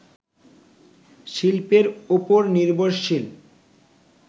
শিল্পের ওপর নির্ভরশীল